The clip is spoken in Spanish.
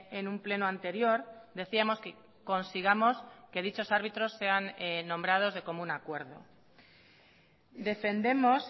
en un pleno anterior decíamos que consigamos que dichos árbitros sean nombrados de común acuerdo defendemos